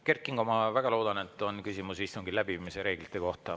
Kert Kingo, ma väga loodan, et on küsimus istungi läbiviimise reeglite kohta.